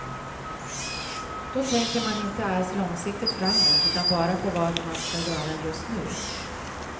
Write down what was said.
Då tänker man inte alls långsiktigt framåt, utan bara på vad man ska göra just nu.